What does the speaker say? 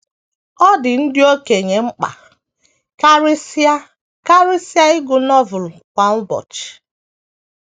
Ọ dị ndị okenye mkpa karịsịa karịsịa ịgụ Novel kwa ụbọchị